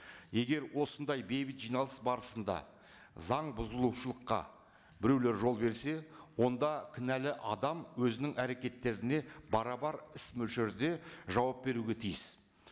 егер осындай бейбіт жиналыс барысында заң бұзылушылыққа біреулер жол берсе онда кінәлі адам өзінің әрекеттеріне барабар іс мөлшерде жауап беруге тиіс